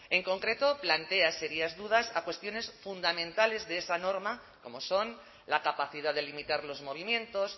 en concreto plantea serias dudas a cuestiones fundamentales de esa norma como son la capacidad de limitar los movimientos